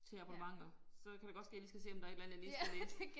Til abonnementer. Så kan det godt ske jeg lige skal se om der et eller andet jeg lige skal læse